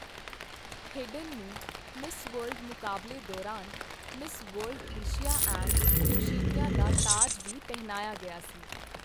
Hayden ਨੂੰ Miss World ਮੁਕਾਬਲੇ ਦੌਰਾਨ 'Miss World Asia and Oceania' ਦਾ ਤਾਜ ਵੀ ਪਹਿਨਾਇਆ ਗਿਆ ਸੀ।